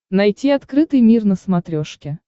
найти открытый мир на смотрешке